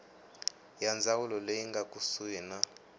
ya ndzawulo leyi nga kusuhani